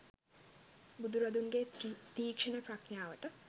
බුදුරදුන්ගේ තීක්‍ෂ්ණ ප්‍රඥාවට